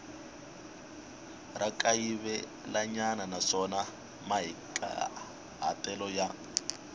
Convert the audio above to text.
ra kayivelanyana naswona mahikahatelo ya